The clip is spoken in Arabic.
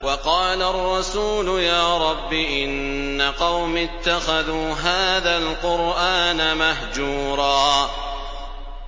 وَقَالَ الرَّسُولُ يَا رَبِّ إِنَّ قَوْمِي اتَّخَذُوا هَٰذَا الْقُرْآنَ مَهْجُورًا